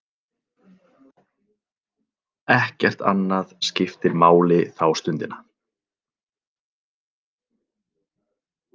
Ekkert annað skiptir máli þá stundina.